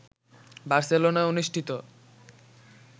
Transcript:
বার্সেলোনায় অনুষ্ঠিত